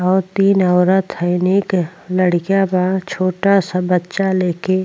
और तीन औरत हैं नेक लड़कियां बा छोटा सा बच्चा ले के --